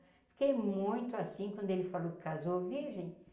Fiquei muito assim quando ele falou que casou virgem.